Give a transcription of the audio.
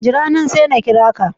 Jira nan, sai na kira ka